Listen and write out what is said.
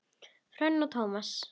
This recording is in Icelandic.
Hrönn og Tómas.